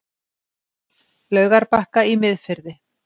Laugarbakka í Miðfirði.